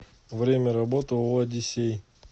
время работы ооо одиссей